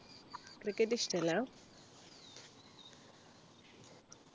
cricket ഇഷ്ടല്ല